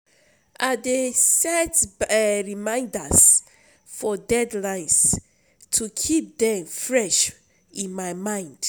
I dey set reminders for deadlines to keep them fresh in my mind.